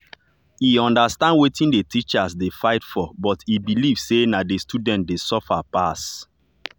e understand wetin the teachers dey fight for but e believe say na the students dey suffer pass.